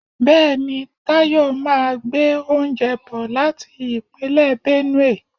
Bẹẹni, Tayọ máa gbé oúnjẹ bò láti Ìpínlẹ̀ Benue.